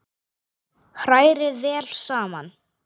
Hrærið vel saman.